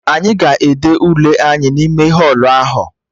Anyị ga-ede Ule anyị n'ime họlụ ahụ